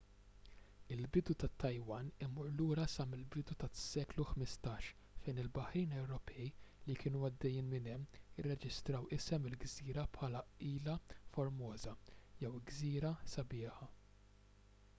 il-bidu tat-taiwan imur lura sa mill-bidu tas-seklu 15 fejn il-baħrin ewropej li kienu għaddejjin minn hemm irreġistraw isem il-gżira bħala ilha formosa jew gżira sabiħa